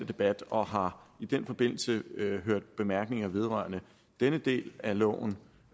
debat og har i den forbindelse hørt bemærkninger vedrørende denne del af loven